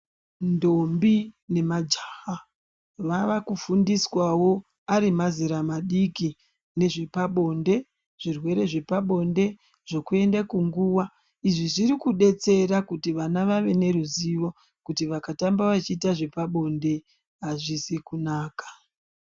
Ndombi nemajaha vava kufundiswa wo arimazera madiki nezvepabonde zvirwere zvepabonde ,zvokuenda kunguwa izvi zvirikudetsera kuti vana vave neruzivo kuti vakatamba vachiita zvepabonde azvizi kunaka.